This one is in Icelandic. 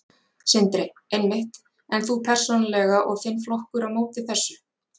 Sindri: Einmitt, en þú persónulega og þinn flokkur á móti þessu?